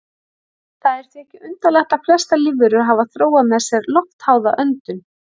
Það er því ekki undarlegt að flestar lífverur hafa þróað með sér loftháða öndun.